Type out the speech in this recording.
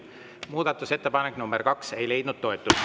Muudatusettepanek nr 2 ei leidnud toetust.